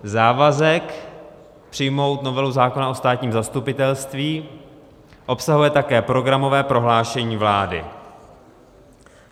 Závazek přijmout novelu zákona o státním zastupitelství obsahuje také programové prohlášení vlády.